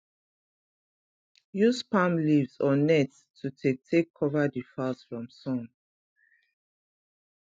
use palm leaves or net to take take cover the fowls from sun